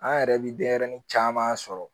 An yɛrɛ bi denyɛrɛni caman sɔrɔ